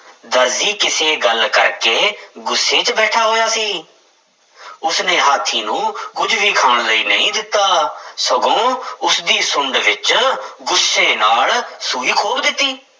ਦਰਜੀ ਕਿਸੇ ਗੱਲ ਕਰਕੇ ਗੁੱਸੇ ਵਿੱਚ ਬੈਠਾ ਹੋਇਆ ਸੀ ਉਸਨੇ ਹਾਥੀ ਨੂੰ ਕੁੱਝ ਵੀ ਖਾਣ ਲਈ ਨਹੀਂ ਦਿੱਤਾ ਸਗੋਂ ਉਸਦੀ ਸੁੰਡ ਵਿੱਚ ਗੁੱਸੇ ਨਾਲ ਸੂਈ ਖੋਭ ਦਿੱਤੀ।